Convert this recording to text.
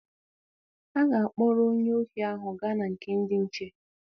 A ga-akpọrọ onye ohi ahụ gaa na nke ndị nche.